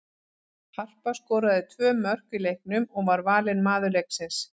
Harpa skoraði tvö mörk í leiknum og var valin maður leiksins.